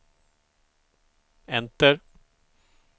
enter